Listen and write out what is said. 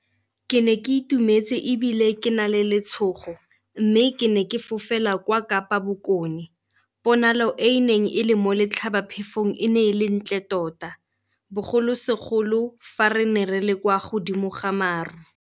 Ke ne ke itumetse ebile ke na le letshogo mme ke ne ke fofela kwa Kapa Bokone. Ponalo e e neng e le mo letlhabaphefong e ne e le ntle tota bogolo segolo fa re ne re le kwa godimo ga maru.